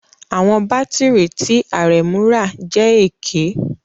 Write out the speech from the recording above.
Àwọn bátìrì tí Aremu rà jẹ́ èké